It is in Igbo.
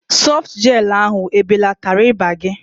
Sọftu Jel ahu ebelatara ịba gị?